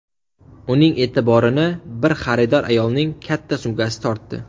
Uning e’tiborini bir xaridor ayolning katta sumkasi tortdi.